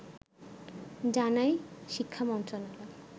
জানায় শিক্ষা মন্ত্রণালয়